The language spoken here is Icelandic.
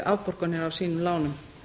afborganir af sínum lánum